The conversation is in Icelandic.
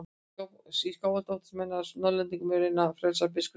Í Skálholti óttuðust menn að Norðlendingar mundu reyna að frelsa biskup sinn.